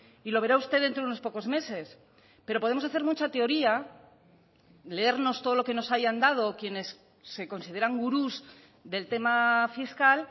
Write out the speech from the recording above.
y lo verá usted dentro de unos pocos meses pero podemos hacer mucha teoría leernos todo lo que nos hayan dado quienes se consideran gurús del tema fiscal